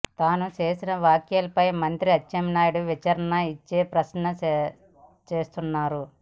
తాను చేసిన వ్యాఖ్యలపై మంత్రి అచ్చెన్నాయుడు వివరణ ఇచ్చే ప్రయత్న చేస్తున్నారు